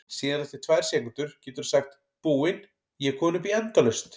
Síðan eftir tvær sekúndur geturðu sagt Búin, ég er komin upp í endalaust!